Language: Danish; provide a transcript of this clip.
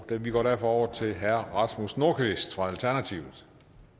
vi går derfor over til herre rasmus nordqvist fra alternativet